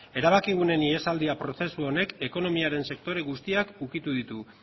erabakiguneen ihesaldia prozesu honek ekonomiaren sektore guztiak ukitu ditu